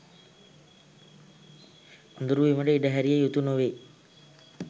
අඳුරු වීමට ඉඩ හැරිය යුතු නොවෙයි.